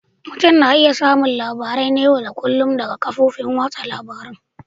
Mutum na iya samun labarai na yau da kullun daga kafofin watsa labarun